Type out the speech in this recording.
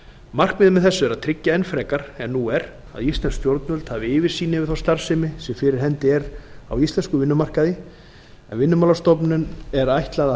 markmiðið með þessu er að tryggja enn frekar en nú er að íslensk stjórnvöld hafi yfirsýn yfir þá starfsemi sem fyrir hendi er á íslenskum vinnumarkaði en vinnumálastofnun er ætlað